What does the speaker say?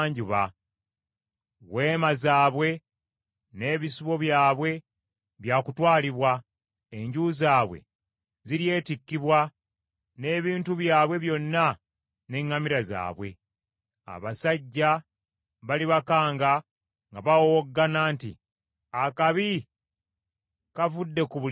Weema zaabwe n’ebisibo byabwe bya kutwalibwa; enju zaabwe ziryetikkibwa n’ebintu byabwe byonna n’eŋŋamira zaabwe. Abasajja balibakanga nga bawowoggana nti, ‘Akabi kavudde ku buli ludda!’